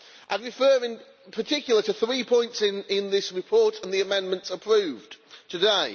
I refer in particular to three points in this report and the amendments approved today.